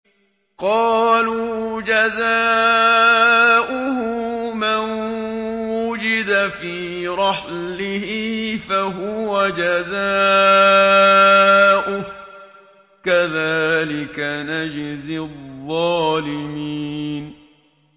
قَالُوا جَزَاؤُهُ مَن وُجِدَ فِي رَحْلِهِ فَهُوَ جَزَاؤُهُ ۚ كَذَٰلِكَ نَجْزِي الظَّالِمِينَ